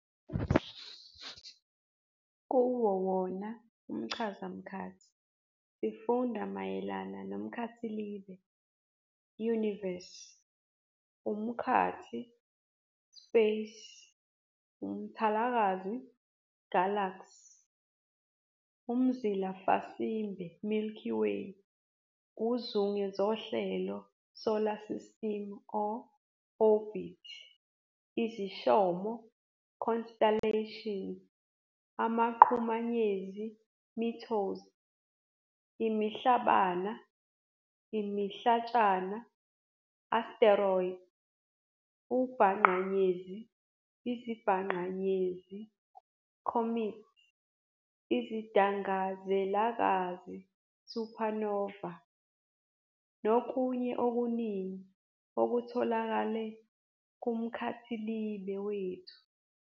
Kuwo wona umChazamkhathi sifunda mayelana nomKhathilibe, "universe", umKhathi, "space", umThalakazi, "galaxy", umZilafasimbe, "milky way", uzungezohlelo, "solar system", "orbit", iziShomo, "constellations", amaQhumanyezi, "meteors", imiHlabana, imihlatshana, "asteroids", uBhaqanyezi, iziBhaqanyezi, "comets", iziDangazelakazi, "supernova", nokunye okuningi okutholakele kuMkhathilibe wethu.